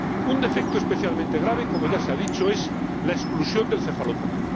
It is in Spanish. Un defecto especialmente grave, como ya se ha dicho, es la exclusión del cefalópodo.